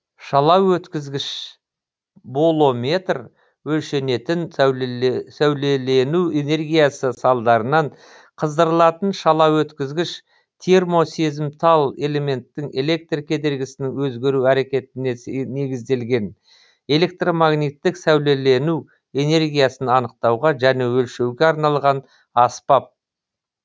шалаөткізгіш болометр өлшенетін сәулелену энергиясы салдарынан қыздырылатын шалаөткізгіш термосезімтал элементтің электр кедергісінің өзгеру әрекетіне негізделген электромагниттік сәулелену энергиясын анықтауға және өлшеуге арналған аспап